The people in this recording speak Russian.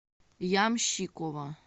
ямщикова